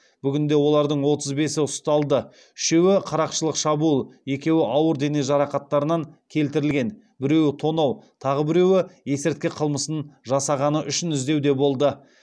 бүгінде олардың отыз бесі ұсталды үшеуі қарақшылық шабуыл екеуі ауыр дене жарақаттарынан келтірілген біреуі тонау тағы біреуі есірткі қылмысын жасағаны үшін іздеуде болды